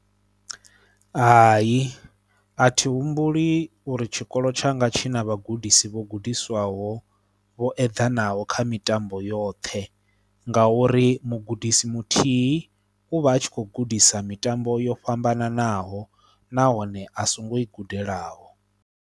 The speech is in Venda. Hai a thi humbuli uri tshikolo tshanga tshi na vhagudisi vho gudisiwaho vho eḓanaho kha mitambo yoṱhe ngauri mugudisi muthihi u vha a tshi kho gudisa mitambo yo fhambananaho nahone a songo i gudelaho.